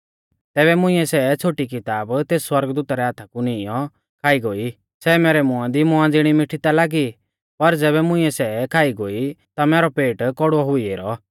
तैबै मुंइऐ सै छ़ोटी किताब तेस सौरगदूता रै हाथा कु नीईंयौ खाई गोई सै मैरै मुंआ दी मौआ ज़िणी मिठी ता लागी पर ज़ैबै मुंइऐ सै खाई गोई ता मैरौ पेट कौड़ुऔ हुई ऐरौ